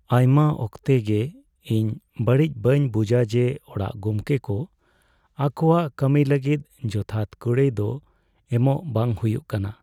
ᱟᱭᱢᱟ ᱚᱠᱛᱮ ᱜᱮ ᱤᱧ ᱵᱟᱹᱲᱤᱡ ᱵᱟᱹᱧ ᱵᱩᱡᱟ ᱡᱮ ᱚᱲᱟᱜ ᱜᱚᱢᱠᱮ ᱠᱚ ᱟᱠᱚᱣᱟᱜ ᱠᱟᱹᱢᱤ ᱞᱟᱹᱜᱤᱫ ᱡᱚᱛᱷᱟᱛ ᱠᱩᱲᱟᱭ ᱫᱚ ᱮᱢᱚᱜ ᱵᱟᱝ ᱦᱩᱭᱩᱜ ᱠᱟᱱᱟ ᱾